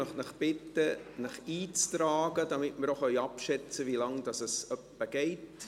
Ich möchte Sie bitten, sich einzutragen, damit wir abschätzen können, wie lange es ungefähr dauert.